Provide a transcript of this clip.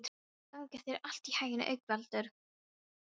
Gangi þér allt í haginn, Haukvaldur.